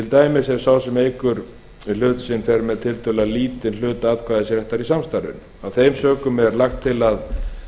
dæmis ef sá sem eykur við hlut sinn fer með tiltölulega lítinn hluta atkvæðisréttar í samstarfinu af þeim sökum er lagt til að